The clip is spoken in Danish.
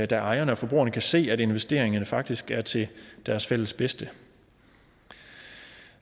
da ejerne og forbrugerne kan se at investeringerne faktisk er til deres fælles bedste